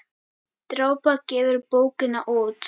Drápa gefur bókina út.